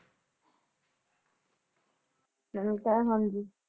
ਮੈਨੂੰ ਕਹਿ ਹਾਂਜੀ